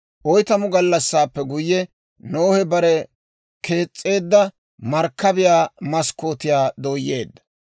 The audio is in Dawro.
Oytamu gallassaappe guyye, Nohe bare kees's'eedda markkabiyaa maskkootiyaa dooyyeedda;